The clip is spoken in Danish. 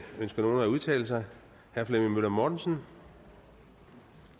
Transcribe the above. ønsker nogen at udtale sig herre flemming møller mortensen